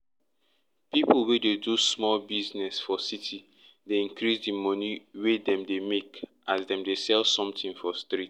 pipu wey dey do sumol business business for city dey increase di money wey dem dey make as dem dey sell somthing for street